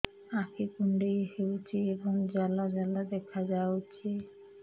ଆଖି କୁଣ୍ଡେଇ ହେଉଛି ଏବଂ ଜାଲ ଜାଲ ଦେଖାଯାଉଛି